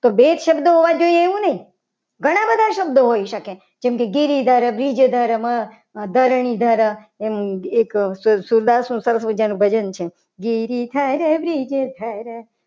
બે જ શબ્દો હોવા જોઈએ. એવું નહીં ઘણા બધા શબ્દો હોઈ શકે. જેમ કે ઘેરીધર બીજ દર ધરણીધર એમ એક સદા સુદામા નું ભજન છે. ઘેરી દર બ્રિજદાર